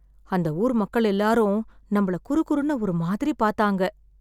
அந்த ஊர் மக்கள் எல்லாரும் நம்மள குறுகுறுன்னு ஒரு மாதிரி பார்த்தாங்க.